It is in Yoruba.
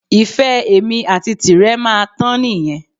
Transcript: Ìfẹ́ èmi àti tirẹ̀ máa tán nìyẹn